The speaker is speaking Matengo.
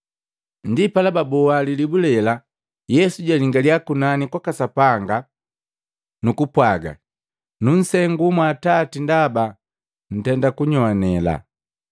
Ndipala baboa lilibu lela. Yesu jwalingalia kunani kwaka Sapanga, nukupwaga, “Nunsengu mwa Atati ndaba Ntenda kunyogwanela.